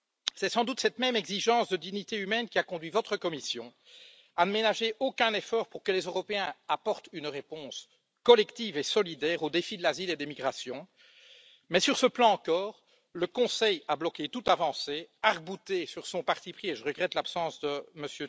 C'est sans doute cette même exigence de dignité humaine qui a conduit votre Commission à ne ménager aucun effort pour que les Européens apportent une réponse collective et solidaire aux défis de l'asile et des migrations mais, sur ce plan encore, le Conseil a bloqué toute avancée et je regrette l'absence de M.